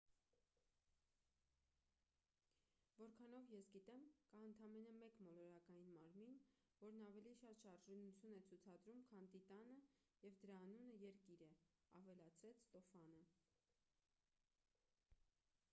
որքանով ես գիտեմ կա ընդամենը մեկ մոլորակային մարմին որն ավելի շատ շարժունություն է ցուցադրում քան տիտանը և դրա անունը երկիր է ավելացրեց ստոֆանը